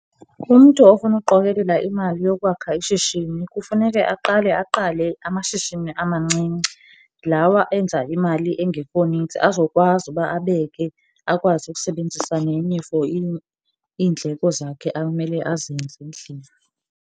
Umntu ofuna ukuqokelela imali yokwakha ishishini kufuneke aqale aqale amashishini amancinci, lawaa enza imali engekho nintsi azokwazi uba abeke, akwazi ukusebenzisa nenye for iindleko zakhe amele azenze endlini.